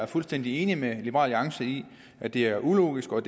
fuldstændig enige med liberal alliance i at det er ulogisk og